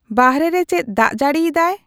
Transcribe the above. ᱵᱟᱨᱦᱮ ᱨᱮ ᱪᱮᱫ ᱫᱟᱜ ᱡᱟᱹᱲᱤ ᱮᱫᱟᱭ ᱾